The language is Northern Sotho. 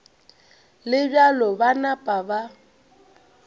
le bjalo ba napa ba